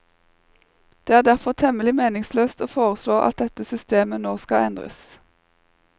Det er derfor temmelig meningsløst å foreslå at dette systemet nå skal endres.